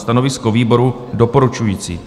Stanovisko výboru - doporučující.